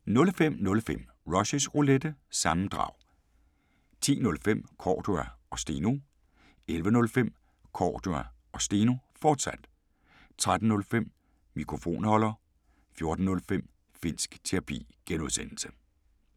05:05: Rushys Roulette – sammendrag 10:05: Cordua & Steno 11:05: Cordua & Steno, fortsat 13:05: Mikrofonholder 14:05: Finnsk Terapi (G)